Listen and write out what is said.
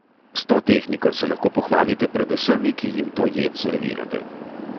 S to tehniko se lahko pohvalite pred vsemi, ki jim to jed servirate!